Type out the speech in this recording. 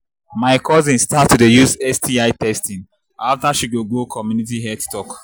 my cousin start to dey use sti testing after she go go community health talk